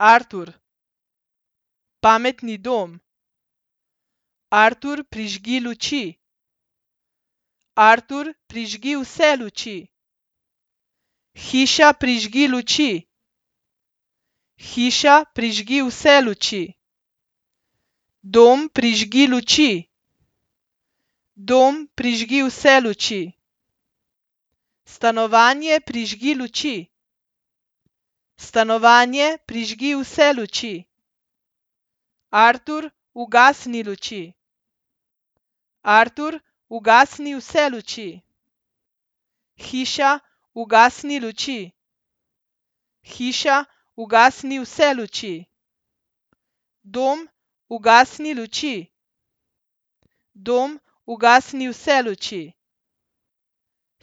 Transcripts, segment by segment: Artur. Pametni dom. Artur, prižgi luči. Artur, prižgi vse luči. Hiša, prižgi luči. Hiša, prižgi vse luči. Dom, prižgi luči. Dom, prižgi vse luči. Stanovanje, prižgi luči. Stanovanje, prižgi vse luči. Artur, ugasni luči. Artur, ugasni vse luči. Hiša, ugasni luči. Hiša, ugasni vse luči. Dom, ugasni luči. Dom, ugasni vse luči.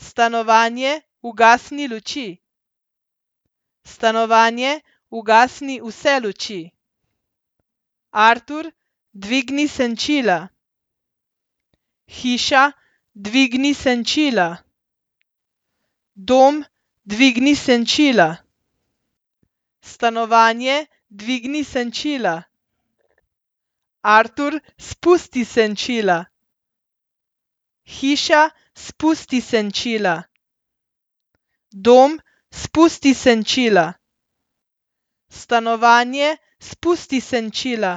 Stanovanje, ugasni luči. Stanovanje, ugasni vse luči. Artur, dvigni senčila. Hiša, dvigni senčila. Dom, dvigni senčila. Stanovanje, dvigni senčila. Artur, spusti senčila. Hiša, spusti senčila. Dom, spusti senčila. Stanovanje, spusti senčila.